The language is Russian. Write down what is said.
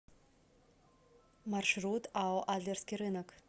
маршрут ао адлерский рынок